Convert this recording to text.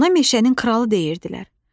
Ona meşənin kralı deyirdilər.